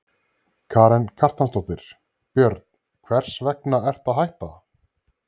Karen Kjartansdóttir: Björn, hvers vegna ertu að hætta?